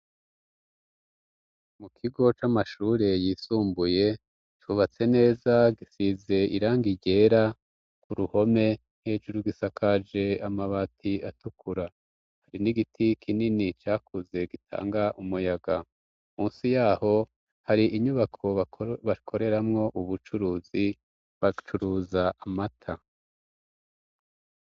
Mu kigo c'amashure yisumbuye cubatse neza, gisize iranga ryera k'uruhome hejuru, gisakaje amabati atukura, hari n'igiti kinini cakuze gitanga umuyaga ,munsi yaho hari inyubako bakoreramwo ubucuruzi bacuruza amata.